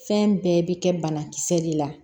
Fɛn bɛɛ bɛ kɛ banakisɛ de la